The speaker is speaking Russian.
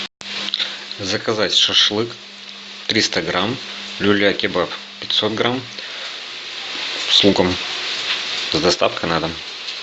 заказать шашлык триста грамм люля кебаб пятьсот грамм с луком с доставкой на дом